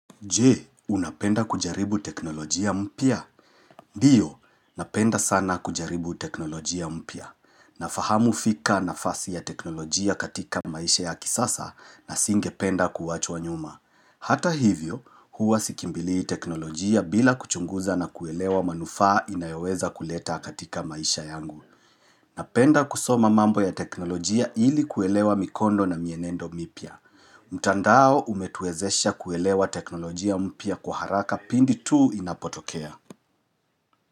Jee, unapenda kujaribu teknolojia mpya? Ndiyo, napenda sana kujaribu teknolojia mpya. Nafahamu fika nafasi ya teknolojia katika maisha ya kisasa na singependa kuwachwa nyuma. Hata hivyo, huwa sikimbilii teknolojia bila kuchunguza na kuelewa manufaa inayoweza kuleta katika maisha yangu. Napenda kusoma mambo ya teknolojia ili kuelewa mikondo na mienendo mipya. Mtandao umetuwezesha kuelewa teknolojia mpya kwa haraka pindi tu inapotokea.